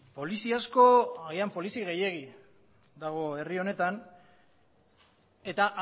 polizi asko agian polizi gehiegi dago herri honetan eta